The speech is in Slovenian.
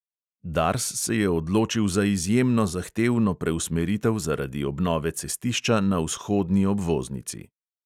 Dars se je odločil za izjemno zahtevno preusmeritev zaradi obnove cestišča na vzhodni obvoznici.